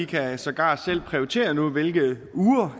kan sågar selv prioritere nu hvilke uger